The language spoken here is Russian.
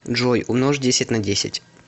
джой умножь десять на десять